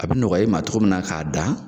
A bɛ nɔgɔya e ma cɔgɔ min na k'a dan